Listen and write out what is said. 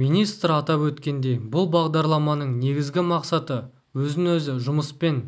министр атап өткендей бұл бағдарламаның негізгі мақсаты өзін-өзі жұмыспен